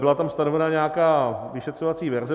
Byla tam stanovena nějaká vyšetřovací verze.